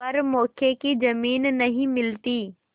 पर मौके की जमीन नहीं मिलती